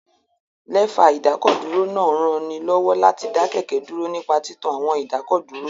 Lẹ́fà ìdákọ̀dúró náà ń ranilọ́wọ́ láti dá kẹ̀kẹ́ dúró nípa títan àwọn ìdákọ̀dúró